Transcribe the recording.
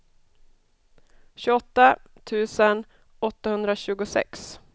tjugoåtta tusen åttahundratjugosex